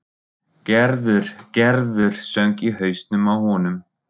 Gerður, Gerður söng í hausnum á honum.